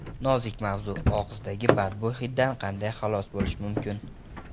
Nozik mavzu: Og‘izdagi badbo‘y hiddan qanday xalos bo‘lish mumkin?.